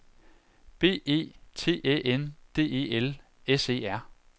B E T Æ N D E L S E R